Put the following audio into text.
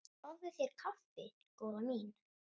Fáðu þér kaffi góða mín.